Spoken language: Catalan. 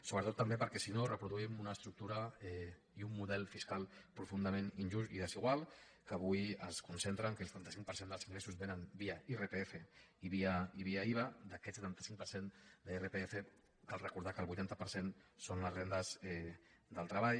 sobretot també perquè si no reproduïm una estructura i un model fiscal profun·dament injustos i desiguals que avui es concentren en el fet que el setanta cinc per cent dels ingressos vénen via irpf i via iva d’aquest setanta cinc per cent d’irpf cal recordar que el vuitanta per cent són les rendes del treball